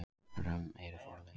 Römm eru forlögin.